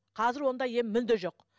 қазір ондай ем мүлде жоқ